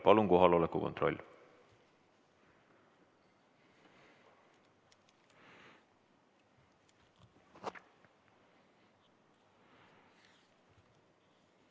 Palun kohaloleku kontroll!